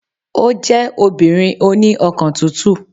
Ó jẹ́ obìnrin oní ọkàn tútù